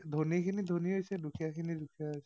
ধনীখিনি ধনী হৈছে, দুখীয়াখিনি দুখীয়া হৈছে।